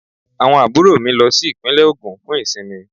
Àwọn àbúrò mi lọ sí Ìpínlẹ̀ Ògùn fún ìsinmi